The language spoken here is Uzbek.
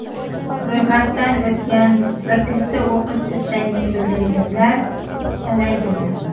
Ro‘yxatdan o‘tgan va kursda o‘qish istagini bildirganlar talaygina.